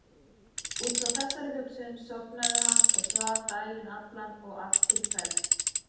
Út frá þessari hugsun sofnaði hann og svaf daginn allan og allt til kvelds.